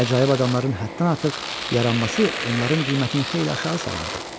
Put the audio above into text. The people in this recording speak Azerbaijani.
Əcaib adamların həddən artıq yaranması onların qiymətini xeyli aşağı salardı.